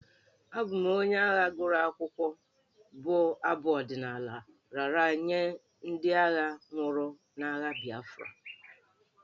Abụ m onye agha gụrụ akwụkwọ'' bụ abụ ọdịnala a raara nye ndị agha nwụrụ n'agha Biafra.